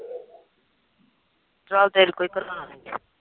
ਚੱਲ ਤੇਰੇ ਕੋਈ